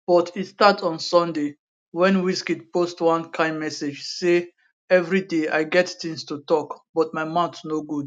but e start on sunday wen wizkid post one kain message say evri day i get tins to tok but my mouth no good